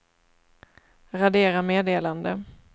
radera meddelande